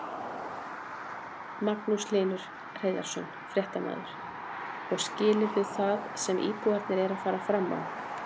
Magnús Hlynur Hreiðarsson, fréttamaður: Og skilurðu það sem íbúarnir eru að fara fram á?